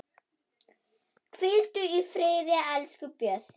Hvíldu í friði, elsku Bjössi.